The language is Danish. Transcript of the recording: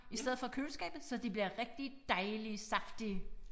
I stedet for køleskabet så de bliver rigtig dejlige saftige